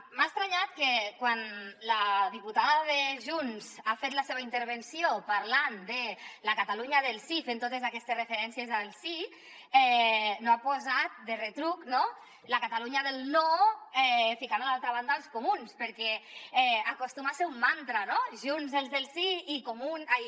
m’ha estranyat que quan la diputada de junts ha fet la seva intervenció parlant de la catalunya del sí fent totes aquestes referències al sí no ha posat de retruc la catalunya del no ficant a l’altra banda els comuns perquè acostuma a ser un mantra junts els del sí i comuns